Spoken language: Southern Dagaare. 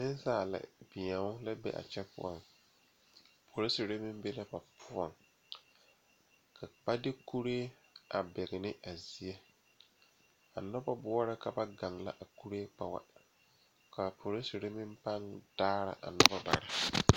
Neŋsaale beɛou la be a kyɛ poɔŋ poriserre meŋ be la ba poɔŋ ka ba de kuree a bige ne a zie ka nobɔ boɔrɔ ka ba gaŋ la a kuree kpɛ wa ka poriserre meŋ paŋ daara a nobɔ bara.